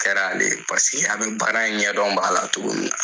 A kɛra len paseke a bɛ baara in ɲɛdɔn b'a la togo min na.